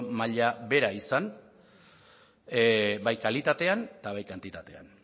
maila bera izan bai kalitatean eta bai kantitatean